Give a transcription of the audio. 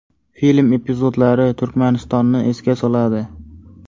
Film epizodlari Turkmanistonni esga soladi.